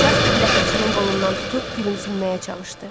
Jasper Ləpirçinin qolundan tutub gülümsünməyə çalışdı.